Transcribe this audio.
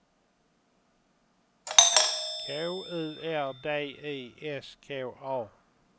K U R D I S K A